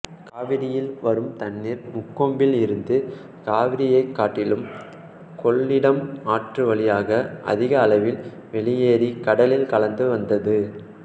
காவிரியில் வரும் தண்ணீர் முக்கொம்பில் இருந்து காவிரியைக் காட்டிலும் கொள்ளிடம் ஆறுவழியாக அதிக அளவில் வெளியேறி கடலில் கலந்து வந்தது